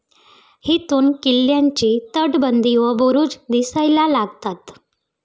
येथून किल्ल्याची तटबंदी व बुरुज दिसायला लागतात.